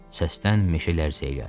Səsdən meşə lərzəyə gəldi.